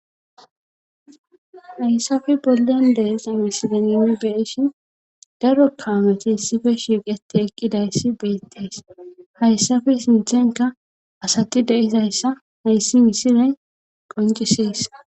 haysape bollen de7iza misilen nuuni be7ishin daro kaameti issipe shiiqetti eqqidayssi beettes;hayssape sinthenkka asathi de7izayssa hayssi misilen qonccisses.